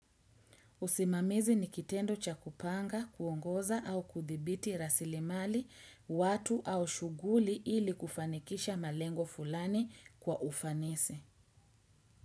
Usimamizi nikitendo cha kupanga, kuongoza au kuthibiti rasilimali, watu au shughuli ili kufanikisha malengo fulani kwa ufanisi.